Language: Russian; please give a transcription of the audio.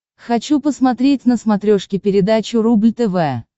хочу посмотреть на смотрешке передачу рубль тв